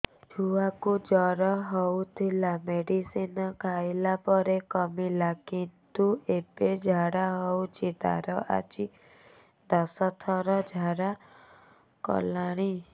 ଛୁଆ କୁ ଜର ହଉଥିଲା ମେଡିସିନ ଖାଇଲା ପରେ କମିଲା କିନ୍ତୁ ଏବେ ଝାଡା ହଉଚି ତାର ଆଜି ଦଶ ଥର ଝାଡା କଲାଣି